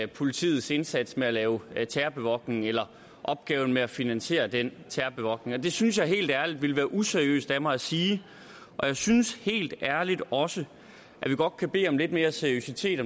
politiets indsats med at lave terrorbevogtning eller opgaven med at finansiere den terrorbevogtning det synes jeg helt ærligt ville være useriøst af mig at sige og jeg synes helt ærligt også at vi godt kan bede om lidt mere seriøsitet